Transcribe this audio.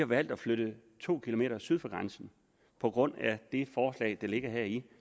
valgt at flytte to km syd for grænsen på grund af det forslag der ligger heri